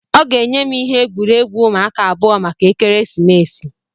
ọ ga-enye m ihe egwuregwu ụmụaka abụọ maka ekeresimesi